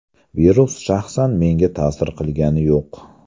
Virus shaxsan menga ta’sir qilgani yo‘q.